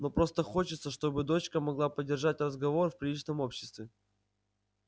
но просто хочется чтобы дочка могла поддержать разговор в приличном обществе